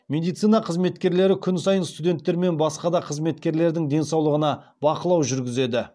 медицина қызметкері күн сайын студенттер мен басқа да қызметкерлердің денсаулығына бақылау жүргізеді